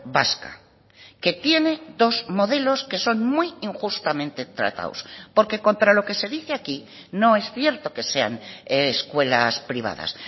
vasca que tiene dos modelos que son muy injustamente tratados porque contra lo que se dice aquí no es cierto que sean escuelas privadas